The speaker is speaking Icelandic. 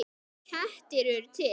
Kettir eru til